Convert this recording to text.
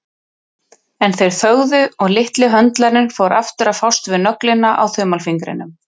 En þeir þögðu og litli höndlarinn fór aftur að fást við nöglina á þumalfingrinum.